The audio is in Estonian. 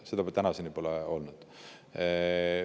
Seda pole tänaseni olnud.